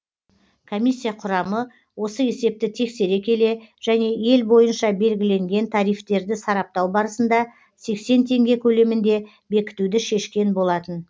комиссия құрамы осы есепті тексере келе және ел бойынша белгіленген тарифтерді сараптау барысында сексен теңге көлемінде бекітуді шешкен болатын